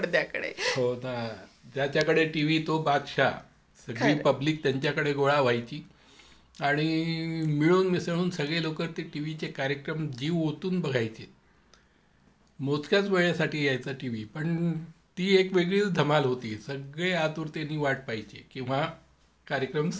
हो ना. त्याच्याकडे टीव्ही तो बादशाह सगळी पब्लिक त्यांच्याकडे गोळा व्हायची आणि मिळून मिसळून सगळे लोक ते टीव्हीचे कार्यक्रम जीव ओतून बघायचे मोजक्याच वेळेसाठी यायचा टीव्ही पण ती एक वेगळीच धमाल होती आतुरतेने वाट पाहायचे केंव्हा कार्यक्रम सुरू होतात म्हणून.